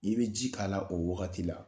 Ni be ji k'a la, o wagati la